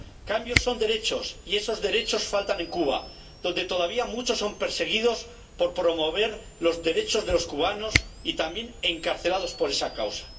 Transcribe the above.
Cambios son derechos, y esos derechos faltan en Cuba, donde todavía muchos son perseguidos por promover los derechos de los cubanos y también encarcelados por esa causa.